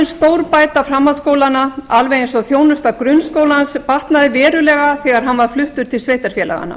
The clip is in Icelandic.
stórbæta framhaldsskólana alveg eins og þjónusta grunnskólans batnaði verulega þegar hann var fluttur til sveitarfélaganna